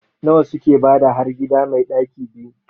A nawa suke bada har gida mai ɗaki 2?